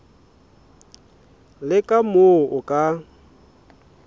le ka moo o ka